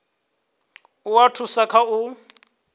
u a thusa kha u